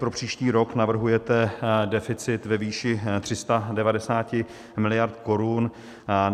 Pro příští rok navrhujete deficit ve výši 390 miliard korun.